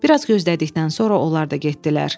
Bir az gözlədikdən sonra onlar da getdilər.